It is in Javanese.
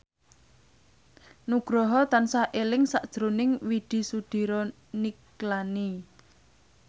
Nugroho tansah eling sakjroning Widy Soediro Nichlany